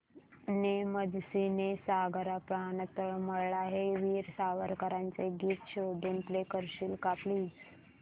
ने मजसी ने सागरा प्राण तळमळला हे वीर सावरकरांचे गीत शोधून प्ले करशील का प्लीज